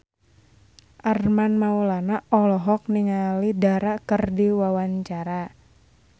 Armand Maulana olohok ningali Dara keur diwawancara